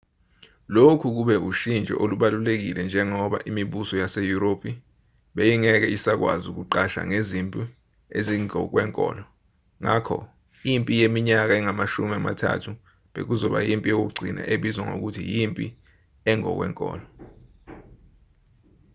lokhu kube ushintsho olubalulekile njengoba imibuso yaseyurophi beyingeke isakwazi ukuqasha ngezimpi ezingokwenkolo ngakho impi yeminyaka engamashumi amathathu bekuzoba yimpi yokugcina ebizwa ngokuthi yimpi engokwenkolo